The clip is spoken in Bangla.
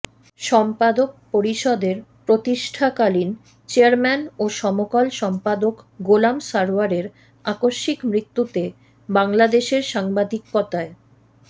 সম্পাদক পরিষদের প্রতিষ্ঠাকালীন চেয়ারম্যান ও সমকাল সম্পাদক গোলাম সারওয়ারের আকস্মিক মৃত্যুতে বাংলাদেশের সাংবাদিকতায়